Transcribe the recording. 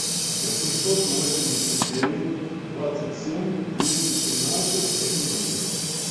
восемьсот восемьдесят девять двадцать семь двести тринадцать одиннадцать